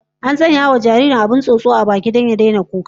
An sanya wa jaririn abin wasa na tsotsa a baki don ya dauke masa hankali ya bar kuka